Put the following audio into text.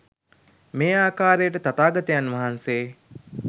මේ ආකාරයට තථාගතයන් වහන්සේ